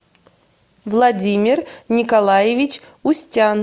владимир николаевич устян